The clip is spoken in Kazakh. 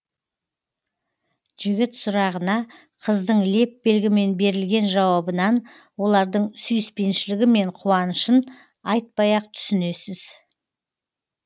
жігіт сұрағына қыздың леп белгімен берілген жауабынан олардың сүйіспеншілігі мен қуанышын айтпай ақ түсінесіз